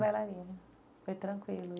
Bailarina, foi tranquilo